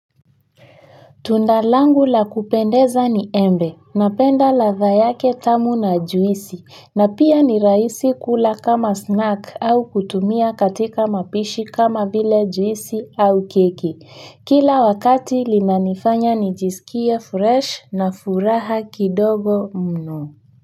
Tundalangu la kupendeza ni embe, napenda ladha yake tamu na juisi, na pia ni rahisi kula kama snack au kutumia katika mapishi kama vile juisi au keki. Kila wakati linanifanya nijisikie fresh na furaha kidogo mno.